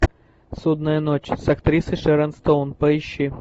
судная ночь с актрисой шерон стоун поищи